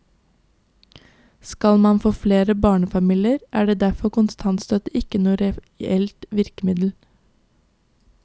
Skal man få flere barnefamilier, er derfor kontantstøtte ikke noe reelt virkemiddel.